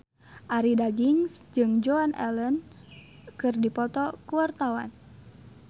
Arie Daginks jeung Joan Allen keur dipoto ku wartawan